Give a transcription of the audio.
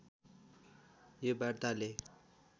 यो वार्ताले